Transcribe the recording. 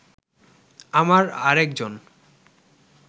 আমার আরেকজন